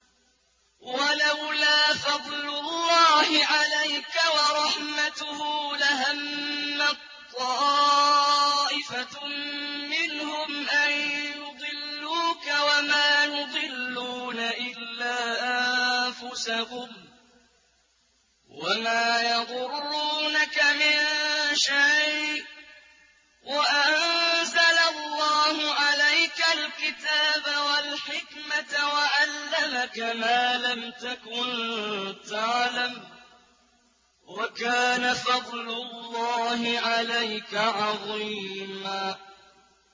وَلَوْلَا فَضْلُ اللَّهِ عَلَيْكَ وَرَحْمَتُهُ لَهَمَّت طَّائِفَةٌ مِّنْهُمْ أَن يُضِلُّوكَ وَمَا يُضِلُّونَ إِلَّا أَنفُسَهُمْ ۖ وَمَا يَضُرُّونَكَ مِن شَيْءٍ ۚ وَأَنزَلَ اللَّهُ عَلَيْكَ الْكِتَابَ وَالْحِكْمَةَ وَعَلَّمَكَ مَا لَمْ تَكُن تَعْلَمُ ۚ وَكَانَ فَضْلُ اللَّهِ عَلَيْكَ عَظِيمًا